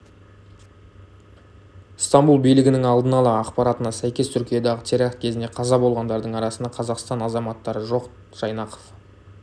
стамбұл билігінің алдын ала ақпаратына сәйкес түркиядағы теракт кезінде қаза болғандардың арасында қазақстан азаматтары жоқ жайнақов